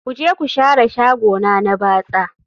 Ku je ku share shagona na batsa